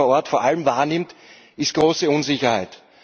Was man vor Ort vor allem wahrnimmt, ist große Unsicherheit.